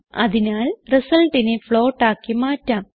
അതിനാൽ resultനെ ഫ്ലോട്ട് ആക്കി മാറ്റാം